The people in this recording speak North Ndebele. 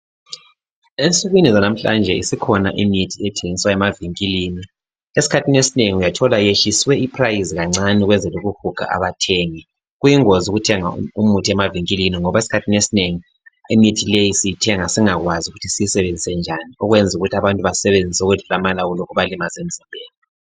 Ensukwini zanamhlanje isikhona imithi ethengiswa emavinkilini esikhathini esinengi uyathola iyehliswe i price kancane ukwenzela ukuhuga abathengi, kuyingozi ukuthenga imuthi emavinkilini ngoba esikhathini esinengi imithi leyi siyithenga singakwazi ukuthi siyisebenzise njani okwenza ukuthi abantu bayisebenzise okwedlula amalawulo kubalimaze emzimbeni.